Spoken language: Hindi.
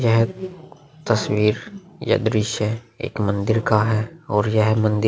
यह तस्वीर यह दृश्य एक मंदिर का है और यह मंदिर --